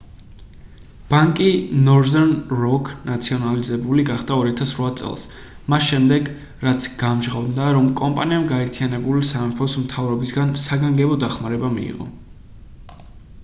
ბანკი northern rock ნაციონალიზებული გახდა 2008 წელს მას შემდეგ რაც გამჟღავნდა რომ კომპანიამ გაერთიანებული სამეფოს მთავრობისგან საგანგებო დახმარება მიიღო